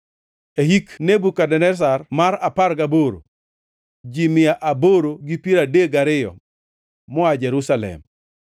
e hik Nebukadneza mar apar gaboro, ji mia aboro gi piero adek gariyo moa Jerusalem;